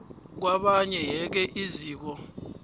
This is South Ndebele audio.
kwabanye yeke iziko